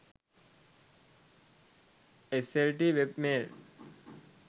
slt webmail